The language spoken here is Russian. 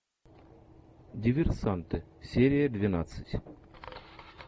диверсанты серия двенадцать